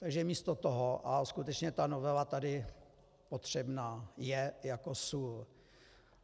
Takže místo toho - a skutečně ta novela tady potřebná je jako sůl.